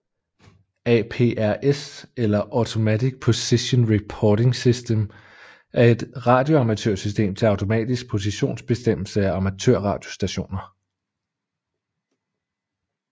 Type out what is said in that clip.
APRS eller Automatic Position Reporting System er et radioamatørsystem til automatisk positionsbestemmelse af amatørradiostationer